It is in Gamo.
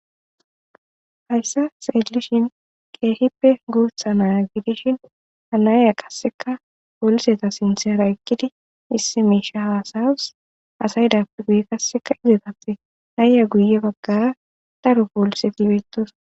Hayssa xellishin keehippe guuththa na'a gidishin ha na'iya qasekka polisetara sinththera eeqiddi issi miishsha hassayawus asay deiya guuttatappe na'ey guuye baggara daro polisetti bettossonna